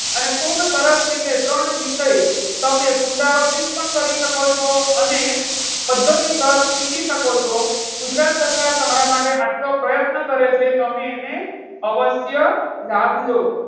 અને ખુબ સરસ રીતે ત્રણ વિષય તમે પુનરાવર્તન પણ કરી શકો છો. અને પદ્ધતિસર શીખી શકો છો ગુજરાત સરકાર તમારા માટે આટલો પ્રયત્ન કરે છે. તમે એને અવશ્ય લાભ લો.